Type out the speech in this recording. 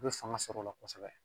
U bɛ fanga sɔrɔ o la kosɛbɛ